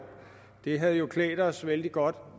det havde jo klædt os vældig godt